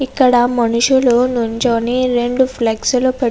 ఇక్కడ మనుషులు నుంచొని రెండు ఫ్లెక్సులు --